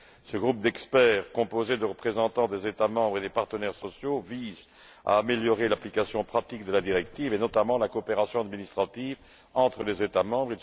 Ce groupe d'experts, composé de représentants des États membres et des partenaires sociaux, vise à améliorer l'application pratique de la directive et notamment la coopération administrative entre les États membres.